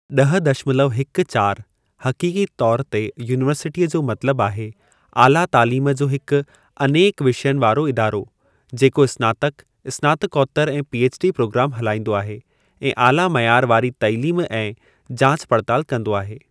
ॾह दशमलव हिकु चारि, हक़ीक़ी तौर ते यूनीवर्सिटीअ जो मतलब आहे, आला तालीम जो हिकु अनेक विषयनि वारो इदारो, जेको स्नातक, स्नातकोतर ऐं पीएचडी प्रोग्राम हलाईंदो आहे ऐं आला मयार वारी तालीम ऐं जाच पड़ताल कंदो आहे।